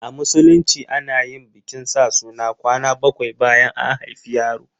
A Musulunci ana yin bikin sa suna kwana bakwai bayan an haifi yaro.